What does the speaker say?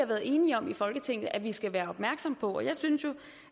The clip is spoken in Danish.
været enige om i folketinget nemlig at vi skal være opmærksomme på det jeg synes jo